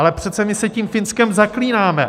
Ale přece my se tím Finskem zaklínáme.